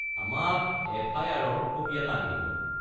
আমাক এফ.আই.আৰ.-ৰ কপি এটা আনি দিব।